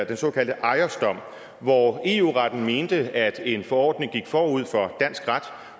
den såkaldte ajosdom hvor eu retten mente at en forordning gik forud for dansk ret